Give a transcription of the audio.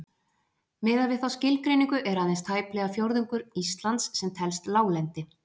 Miðað við þá skilgreiningu er aðeins tæplega fjórðungur Íslands sem telst láglendi.